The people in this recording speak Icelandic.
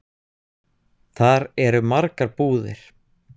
Þar eru margar búðir.